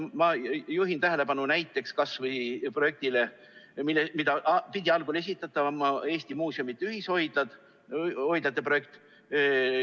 Ma juhin tähelepanu näiteks kas või projektile, mille pidid algul esitama Eesti muuseumide ühishoidlad, sellele hoidlate projektile.